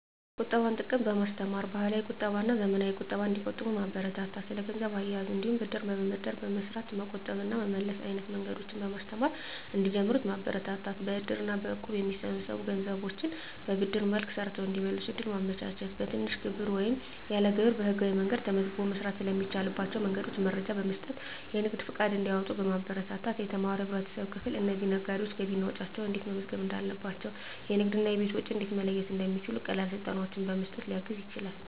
የቁጠባን ጥቅም በማስተማር፣ ባህላዊ ቁጠባና ዘመናዊ ቁጠባን እንዲቆጥቡ ማበረታታት። ስለ ገንዘብ አያያዝ እንዲሁም ብድር በመበደር በመስራት መቆጠብ እና መመለስ አይነት መንገዶችን በማስተማር እንዲጀምሩት ማበረታታት። በእድር እና በእቁብ የሚሰበሰቡ ገንዘቦችን በብድር መልክ ሰርተው እንዲመልሱ እድል ማመቻቸት። በትንሽ ግብር ወይም ያለ ግብር በህጋዊ መንገድ ተመዝግቦ መስራት ስለሚቻልባቸው መንገዶች መረጃ በመስጠት የንግድ ፈቃድ እንዲያወጡ ማበረታታት። የተማረው የህብረተሰብ ክፍል ለእነዚህ ነጋዴዎች ገቢና ወጪያቸውን እንዴት መመዝገብ እንዳለባቸው፣ የንግድና የቤት ወጪን እንዴት መለየት እንደሚችሉ ቀላል ስልጠናዎችን በመስጠት ሊያግዝ ይችላል።